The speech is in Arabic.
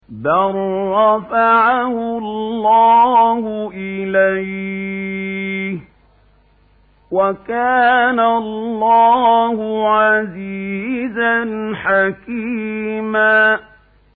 بَل رَّفَعَهُ اللَّهُ إِلَيْهِ ۚ وَكَانَ اللَّهُ عَزِيزًا حَكِيمًا